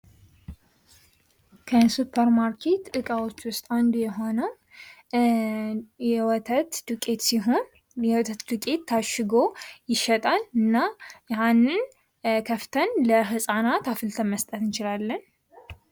ከሱፐር ማርኬት እዕቃዎች ውስጥ አንዱ የሆነው የወተት ዱቄት ሲሆን የወተት ዱቄት ታሽጎ ይሸጣል እና ያሀንን ከፍተን ለህፃናት አፍልተን መስጠት እንችላለን ።